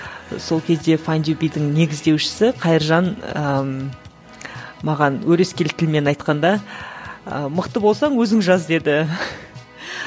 сол кезде файндюбидің негіздеушісі қайыржан ыыы маған өрескел тілмен айтқанда ы мықты болсаң өзің жаз деді